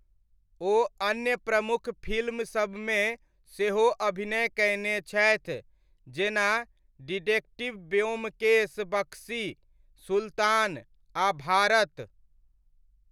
ओ अन्य प्रमुख फिल्मसबमे सेहो अभिनय कयने छथि, जेना डिटेक्टिव ब्योमकेश बख्शी, सुल्तान, आ भारत।